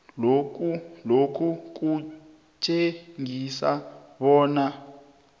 lokhu kutjengisa bona